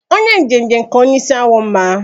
Onye njenje ka onye isi awọ mma